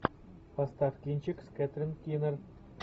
поставь кинчик с кэтрин кинер